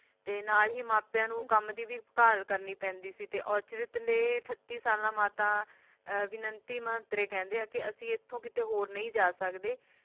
ਤੇ ਨਾਲ ਹੀ ਮਾਪਿਆਂ ਨੂੰ ਕੰਮ ਦੀ ਵੀ ਭਾਲ ਕਰਨੀ ਪੈਂਦੀ ਸੀ ਤੇ ਔਰਚਿਤ ਦੇ ਅਠੱਤੀ ਸਾਲਾਂ ਮਾਤਾ ਵਿਨੰਤੀ ਮਹੰਤਰੇ ਕਹਿੰਦੇ ਕੇ ਅਸੀਂ ਇਥੋਂ ਕਿਤੇ ਹੋਰ ਨਹੀਂ ਜਾ ਸਕਦੇ